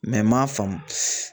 n m'a faamu